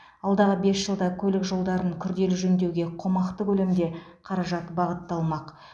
алдағы бес жылда көлік жолдарын күрделі жөндеуге қомақты көлемде қаражат бағытталмақ